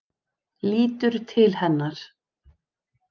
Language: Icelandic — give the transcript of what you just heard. Lítur til hennar.